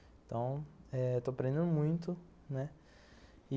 Então, estou aprendendo muito, né. E